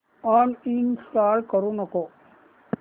uninstall करू नको